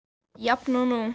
Jafn og nú.